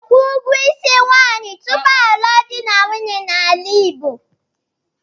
A na-akwụ ụgwọ isi nwunye tupu a lụọ di na nwunye n'ala Igbo.